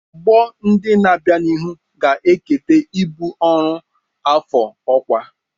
Ọgbọ ndị na-abịa n'ihu ga-eketa ibu ọrụ afọ-ọkwa.